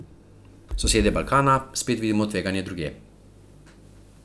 Sosedje Balkana spet vidimo tveganja drugje.